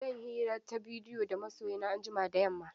Zan yi hira ta bidiyo da masoyi na anjima da yamma.